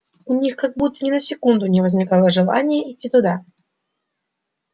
у них как будто ни на секунду не возникало желания идти туда